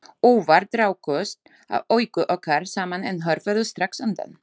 Óvart rákust augu okkar saman en hörfuðu strax undan.